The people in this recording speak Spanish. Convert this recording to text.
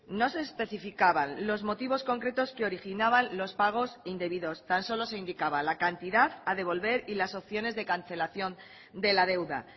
no se especificaban los motivos concretos que originaban los pagos indebidos tan solo se indicaba la cantidad a devolver y las opciones de cancelación de la deuda